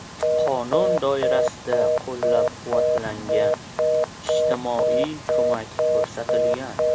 Qonun doirasida qo‘llab-quvvatlangan, ijtimoiy ko‘mak ko‘rsatilgan.